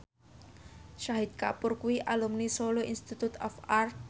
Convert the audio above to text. Shahid Kapoor kuwi alumni Solo Institute of Art